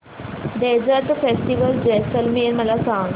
desert festival Jaisalmer मला सांग